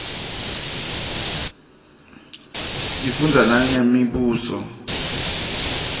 sifundza nangemibuso